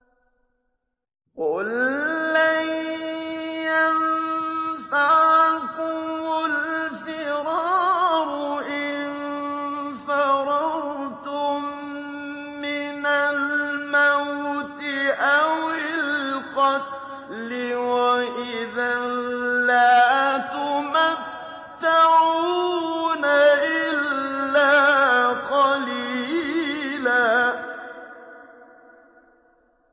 قُل لَّن يَنفَعَكُمُ الْفِرَارُ إِن فَرَرْتُم مِّنَ الْمَوْتِ أَوِ الْقَتْلِ وَإِذًا لَّا تُمَتَّعُونَ إِلَّا قَلِيلًا